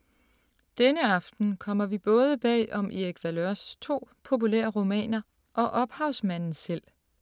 Denne aften kommer vi både bag om Erik Valeurs to populære romaner og ophavsmanden selv.